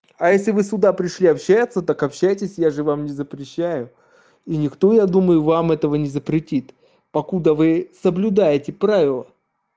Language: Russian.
а если вы сюда пришли общаться так общайся я же вам не запрещаю и никто я думаю вам этого не запретит покуда вы соблюдаете правила